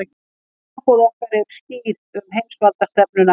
Skilaboð okkar eru skýr um heimsvaldastefnuna